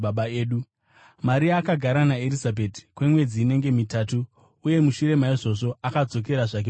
Maria akagara naErizabheti kwemwedzi inenge mitatu uye mushure maizvozvo akazodzokera zvake kumusha.